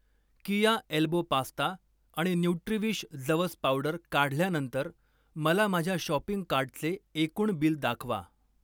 कीया elbow pasta आणि Nutriwish जवस powder काढल्यानंतर मला माझ्या शॉपिंग कार्टचे एकूण बिल दाखवा.